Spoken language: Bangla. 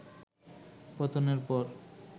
পতনের পর